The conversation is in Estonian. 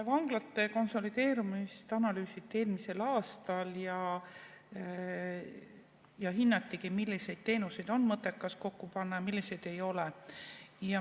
Vanglate konsolideerumist analüüsiti eelmisel aastal ja hinnati, milliseid teenuseid on mõttekas kokku panna ja milliseid ei ole.